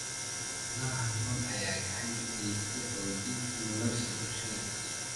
Xoolaha nool ayaa gacan ka geysta xoojinta nolosha bulshada.